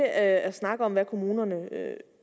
at snakke om hvad kommunerne